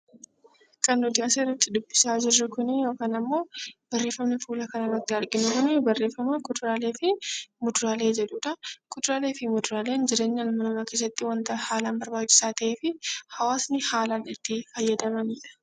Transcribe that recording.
Barreeffamni asirratti dubbisaa jirru Kun barreeffama kuduraalee fi muduraalee jedhudha. Kuduraalee fi muduraaleen jireenya ilma namaa keessatti wanta haalaan barbaachisaa ta'ee fi hawaasni haalaan itti fayyadamanidha